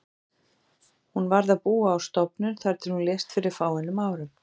Hún varð að búa á stofnun þar til hún lést fyrir fáeinum árum.